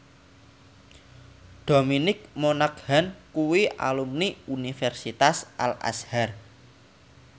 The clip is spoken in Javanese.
Dominic Monaghan kuwi alumni Universitas Al Azhar